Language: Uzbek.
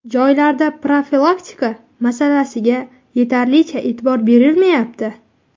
Joylarda profilaktika masalasiga yetarlicha e’tibor berilmayapti.